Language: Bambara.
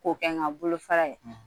K'o kɛ n ka bolofara ye